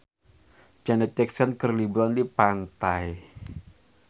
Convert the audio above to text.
Janet Jackson keur liburan di pantai